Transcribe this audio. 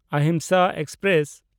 Ahimsa express